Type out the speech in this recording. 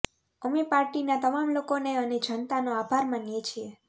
અમે પાર્ટીના તમામ લોકોનો અને જનતાનો આભાર માનીએ છીએ